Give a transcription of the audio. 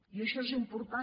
i això és important